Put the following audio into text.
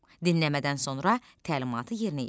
Dinləmədən sonra təlimatı yerinə yetir.